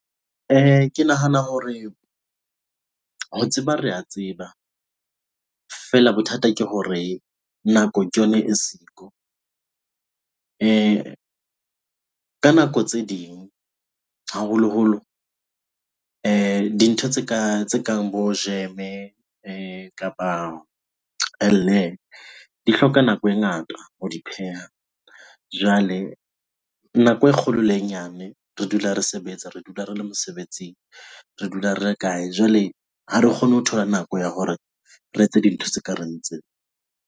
Ke nahana hore ho tseba, re a tseba. Feela bothata ke hore nako ke yona e siko. Ka nako tse ding, haholoholo dintho tse kang bo jeme kapa di hloka nako e ngata ho di pheha. Jwale nako e kgolo le e nyane re dula re sebetsa, re dula re le mosebetsing. Re dula re ya kae? Jwale ha re kgone ho thola nako ya hore re etse dintho tse ka reng tseo.